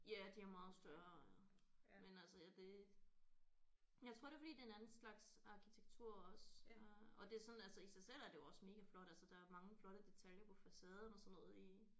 Ja de er meget større men altså ja det jeg tror det er fordi det er en anden slags arkitektur også øh og det er sådan altså i sig selv er det jo også mega flot altså der er mange flotte detaljer på facaden og sådan noget i